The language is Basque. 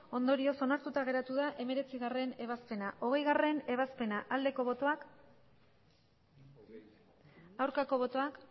ondorioz onartuta geratu da hemeretzigarrena ebazpena hogeigarrena ebazpena aldeko botoak aurkako botoak